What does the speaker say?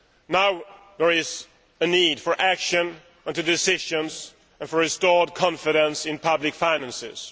Now there is a need for action, for decisions and for restored confidence in public finances.